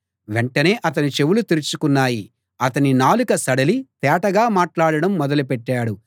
వెంటనే అతని చెవులు తెరుచుకున్నాయి అతని నాలుక సడలి తేటగా మాట్లాడడం మొదలుపెట్టాడు